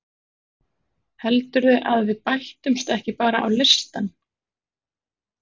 Heldurðu að við bætumst ekki bara á listann?